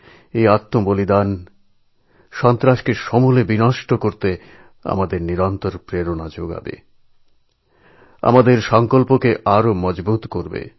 এই শহিদ হওয়া সন্ত্রাসকে সমূলে উৎপাটিত করার জন্য আমাদের নিরন্তর উৎসাহিত করবে আমাদের সঙ্কল্পকে আরও শক্ত করবে